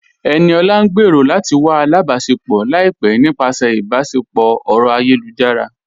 Ẹniọla ń gbẹ́rọ̀ lati wà àlàbáṣẹpọ̀ laipẹ̀ nípasẹ̀ ìbáṣẹpọ̀ ọ̀rọ̀ ayélujára.